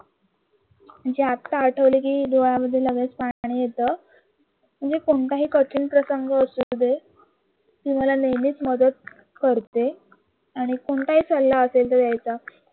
आता आठवलं की डोळ्यांमध्ये लगेच पाणी येतं म्हणजे कोणत्याही कठीण प्रसंग असू दे ती मला नेहमीच मदत करते आणि कोणताही सल्ला असेल द्यायचा